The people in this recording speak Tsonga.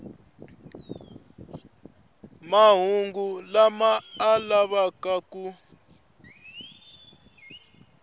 mahungu lama a lavaka ku